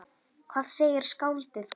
Hvað segir skáldið gott?